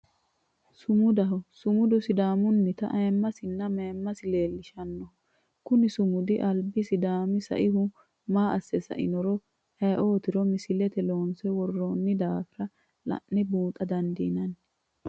Sumudaho, sumudu sidaamunitta ayiimasinna mayimasi leellishanoho, kuni simudi alibi sidaami saihu maa asse sainoronna aye'otiro misilete loonse woronni daafira la'ne buuxxa dandinanni